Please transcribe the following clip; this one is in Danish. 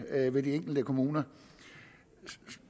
ved de enkelte kommuner